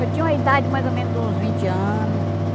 Eu tinha uma idade mais ou menos de uns vinte anos.